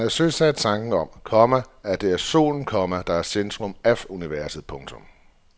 Han havde søsat tanken om, komma at det er solen, komma der er i centrum af universet. punktum